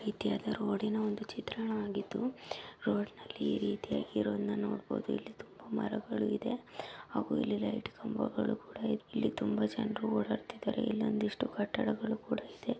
ಇದು ರೋಡ್ನ್ ಒಂದು ಚಿತ್ರಣವಾಗಿದ್ದು ರೋಡ್ ನಲ್ಲಿ ಈ ರೀತಿಯಾಗಿರುವುದನ್ನು ನೋಡಬಹುದು ಮರಗಳು ಇದೆ ಹಾಗು ಇಲ್ಲಿ ಲೈಟ್ ಖಂಭಗಳು ಇದೆ ಇಲ್ಲಿ ತುಂಬಾ ಜನ ಇದ್ದಾರೆ ಇಲ್ಲೊಂದಿಷ್ಟು ಕಟ್ಟಡಗಳು ಇದೆ.